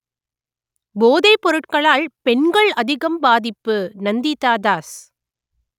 போதைப் பொருட்களால் பெண்கள் அதிகம் பாதிப்பு நந்திதா தாஸ்